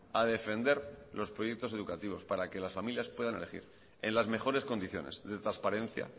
a defender los proyectos educativos para que las familias puedan elegir en las mejores condiciones de transparencia